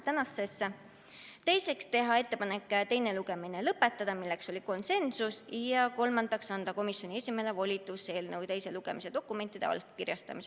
Teiseks otsustati teha ettepanek teine lugemine lõpetada – seegi oli konsensuslik otsus – ja kolmandaks anda komisjoni esimehele volitus eelnõu teise lugemise dokumendid allkirjastada.